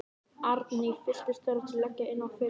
Arndís fylltist þörf til að leggja inn á ferilskrána sína.